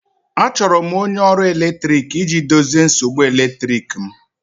Achọrọ m onye ọrụ eletrik iji dozie nsogbu eletrik m